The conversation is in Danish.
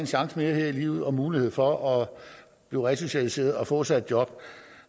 chance mere her i livet og mulighed for at blive resocialiseret og få sig et job